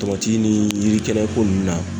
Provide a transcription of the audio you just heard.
Tomati ni yirikɛnɛko nunnu na